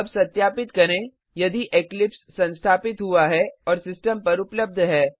अब सत्यापित करें यदि इक्लिप्स संस्थापित हुआ है और सिस्टम पर उपलब्ध है